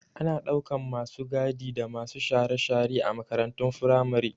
Ana ɗaukan masu gadi da masu share-share a makarantun firamare